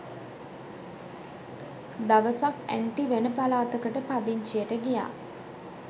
දවසක් ඇන්ටි වෙන පලාතකට පදිංචියට ගියා.